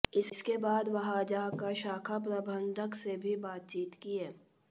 इसके बाद वह जाकर शाखा प्रबन्धक से भी बातचीत किये